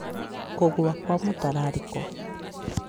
Kũgũa kwa mũtararĩko